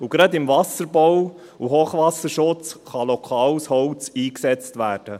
Und gerade im Wasserbau und Hochwasserschutz kann lokales Holz eingesetzt werden.